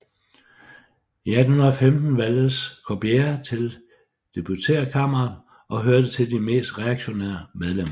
I 1815 valgtes Corbière til deputeretkamret og hørte til de mest reaktionære medlemmer